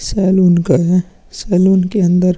Salon का है। Salon के अंदर --